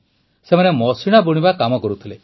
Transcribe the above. ସେମାନେ ମଶିଣା ବୁଣିବା କାମ କରୁଥିଲେ